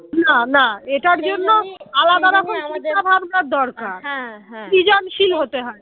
আলাদা রকম চিন্তাভাবনা দরকার সৃজনশীল হতে হয়